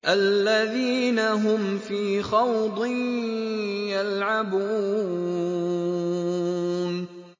الَّذِينَ هُمْ فِي خَوْضٍ يَلْعَبُونَ